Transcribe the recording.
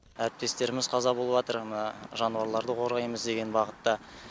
әріптестеріміз қаза болыватыр мына жануарларды қорғаймыз деген бағытта